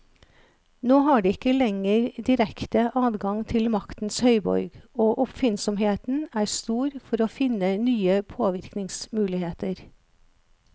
Nå har de ikke lenger direkte adgang til maktens høyborg, og oppfinnsomheten er stor for å finne nye påvirkningsmuligheter.